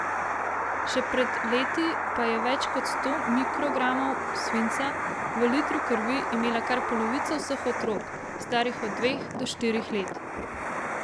Še pred leti pa je več kot sto mikrogramov svinca v litru krvi imela kar polovica vseh otrok, starih od dveh do štirih let.